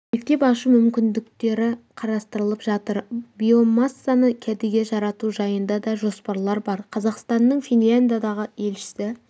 мектеп ашу мүмікіндіктері қарастырылып жатыр биомассаны кәдеге жарату жайында да жоспарлар бар қазақстанның финляндиядағы елшісі